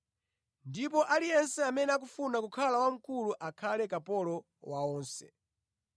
ndipo aliyense amene akufuna kukhala wamkulu akhale kapolo wa onse.